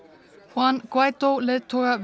juan Guiadó leiðtoga